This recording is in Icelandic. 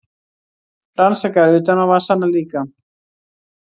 Rannsakar utanávasana líka.